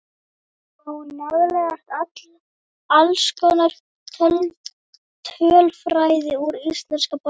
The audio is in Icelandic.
Þar má nálgast alls konar tölfræði úr íslenska boltanum.